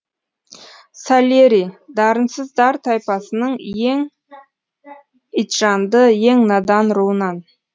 сальери дарынсыздар тайпасының ең итжанды ең надан руынан